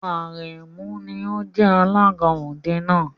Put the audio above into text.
Àrẹ̀mú ni ó jẹ alága òde náà.